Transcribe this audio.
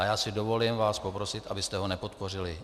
A já si dovolím vás poprosit, abyste ho nepodpořili.